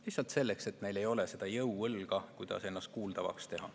Lihtsalt neil ei ole seda jõuõlga, mille abil ennast kuuldavaks teha.